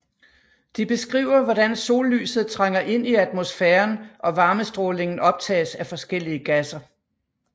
De beskriver hvordan sollyset trænger ind i atmosfæren og varmestrålingen optages af forskellige gasser